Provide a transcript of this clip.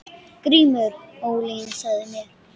GRÍMUR: Ólyginn sagði mér.